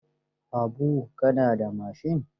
Habu, ka na da mashin?